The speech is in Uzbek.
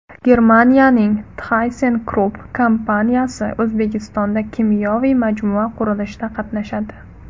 Germaniyaning ThyssenKrupp kompaniyasi O‘zbekistonda kimyoviy majmua qurilishida qatnashadi.